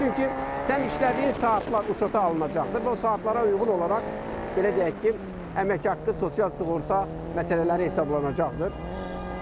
Çünki sən işlədiyin saatlar uçota alınacaqdır və o saatlara uyğun olaraq, belə deyək ki, əmək haqqı, sosial sığorta məsələləri hesablanacaqdır.